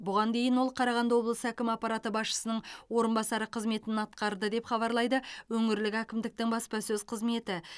бұған дейін ол қарағанды облысы әкімі аппараты басшысының орынбасары қызметін атқарды деп хабарлайды өңірлік әкімдіктің баспасөз қызметі